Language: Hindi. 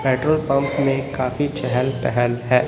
पेट्रोल पंप में काफी चहल पहल है।